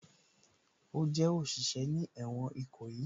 Ó jẹ́ òṣìṣẹ́ ní ẹ̀wọ̀n Ìkòyí